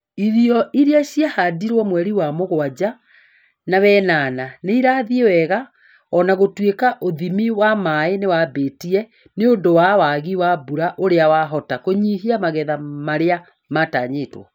Irio iria ciahandirwo mweri wa mũgwanja na wenana nĩirathiĩ wega ona gũtuĩka ũthimi wa maĩ niwambĩtie nĩũndũ wa wagi wa mbura ũrĩa wahota kũnyihia magetha marĩa matanyĩtwo